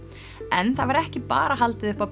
en það var ekki bara haldið upp á